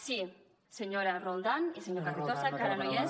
sí senyora roldán i senyor carrizosa que no hi és